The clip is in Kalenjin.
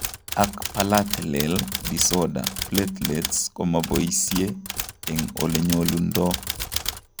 Ak platelel disorder platelets komoboisie eng' elenyolundoo